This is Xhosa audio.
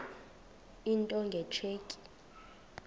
into nge tsheki